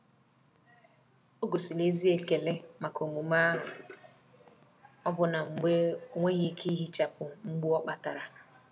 ogosiri ezi ekele maka omume ahụ, ọbụna mgbe ọ nweghị ike ihichapụ mgbu ọ kpatara.